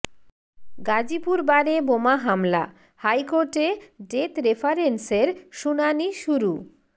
গাজীপুর বারে বোমা হামলা হাইকোর্টে ডেথ রেফারেন্সের শুনানি শুরু